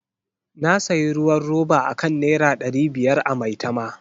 Na sayi ruwan roba akan Naira dari biyar a Maitama.